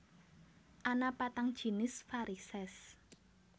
Ana patang jinis varisès